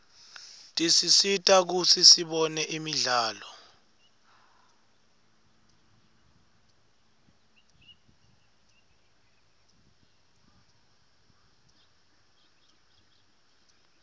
tisisita kutsi sibone imidlalo